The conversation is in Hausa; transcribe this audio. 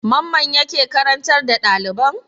Mamman yake karantar da ɗaliban?